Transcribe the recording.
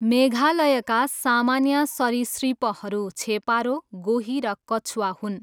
मेघालयका सामान्य सरीसृपहरू छेपारो, गोही र कछुवा हुन्।